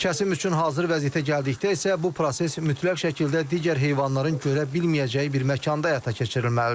Kəsim üçün hazır vəziyyətə gəldikdə isə bu proses mütləq şəkildə digər heyvanların görə bilməyəcəyi bir məkanda həyata keçirilməlidir.